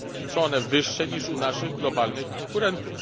Są one wyższe niż u naszych globalnych konkurentów.